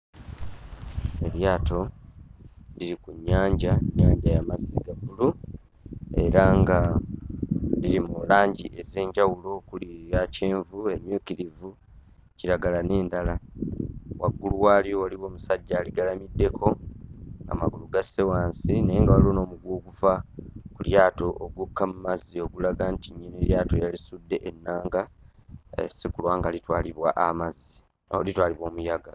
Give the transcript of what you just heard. Eryato liri ku nnyanja, nnyanja ya mazzi ga bbulu era nga biri mu langi ez'enjawulo okuli eya kyenvu, emmyukirivu, kiragala n'endala. Waggulu waalyo waliwo omusajja aligalamiddeko, amagulu gasse wansi naye waliwo n'omuguwa oguva ku lyato ogukka mu mazzi okulaga nti eryato yalisudde ennanga, sikulwa nga litwalibwa amazzi oh litwalibwa omuyaga.